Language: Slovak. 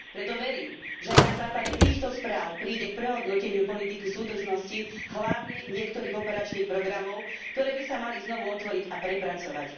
Preto verím, že aj na základe týchto správ príde k prehodnoteniu politiky súdržnosti, hlavne niektorých operačných programov, ktoré by sa mali znovu otvoriť a prepracovať.